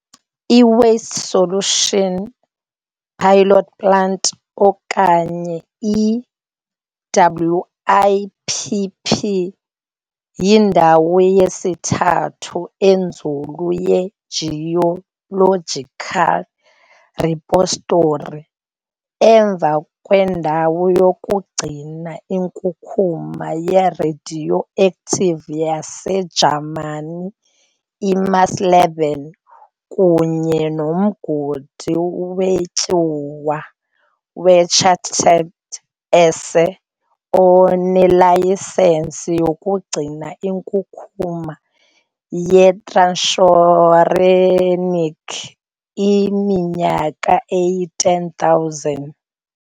I-Waste Isolation Pilot Plant"," okanye i-WIPP, yindawo yesithathu enzulu ye-geological repository, emva kwendawo yokugcina inkunkuma ye-radioactive yaseJamani i-Morsleben kunye nomgodi wetyuwa we-Schacht Asse II, onelayisensi yokugcina inkunkuma ye-transuranic iminyaka eyi-10,000.